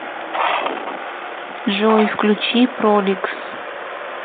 джой включи проликс